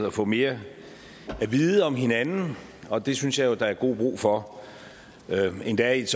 og få mere at vide om hinanden og det synes jeg jo at der er god brug for endda i et